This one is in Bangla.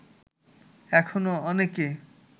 এখনো অনেকে